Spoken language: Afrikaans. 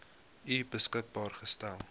u beskikbaar gestel